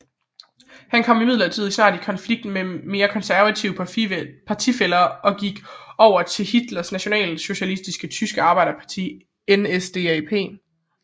Han kom imidlertid snart i konflikt med mere konservative partifæller og gik over til Hitlers Nationalsocialistiske Tyske Arbejderparti NSDAP